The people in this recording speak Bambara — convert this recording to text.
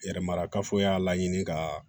Yɛrɛmarakafo y'a la ɲini ka